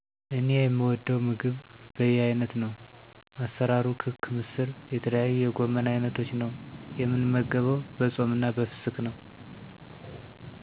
እኔ የምወደው ምግብ በየአይነት ነው። አሰራርሩ ክክ ምስር የተለያዩ የጎመን አይነቶች ነው። የምንመገበው በፆምና በፍስክ ነው።